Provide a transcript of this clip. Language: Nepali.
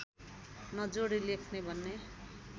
नजोडी लेख्ने भन्ने